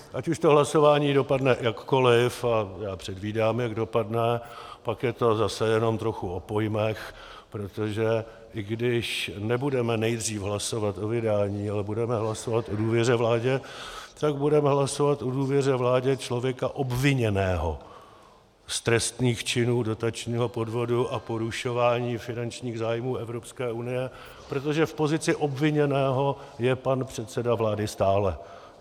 Ať už to hlasování dopadne jakkoliv, a já předvídám, jak dopadne, pak je to zase jenom trochu o pojmech, protože i když nebudeme nejdřív hlasovat o vydání, ale budeme hlasovat o důvěře vládě, tak budeme hlasovat o důvěře vládě člověka obviněného z trestných činů dotačního podvodu a porušování finančních zájmů Evropské unie, protože v pozici obviněného je pan předseda vlády stále.